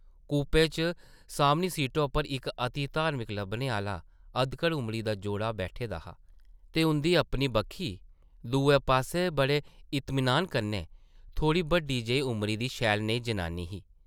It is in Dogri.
कूपै च सामनी सीटा उप्पर इक अति धार्मिक लब्भने आह्ला अधकड़ उमरी दा जोड़ा बैठे दा हा ते उंʼदी अपनी बक्खी दुए पास्सै बड़े इतमनान कन्नै थोह्ड़ी बड्डी जेही उमरी दी शैल नेही जनानी ही ।